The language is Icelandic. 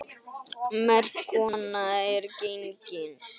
Merk kona er gengin.